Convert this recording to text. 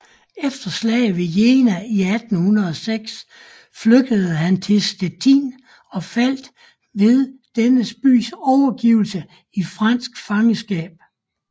Efter slaget ved Jena 1806 flygtede han til Stettin og faldt ved denne bys overgivelse i fransk fangenskab